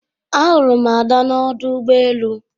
Ahụrụ m ada n'ọdụ ụgbọ elu